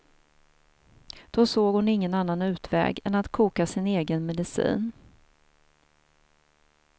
Då såg hon ingen annan utväg än att koka sin egen medicin.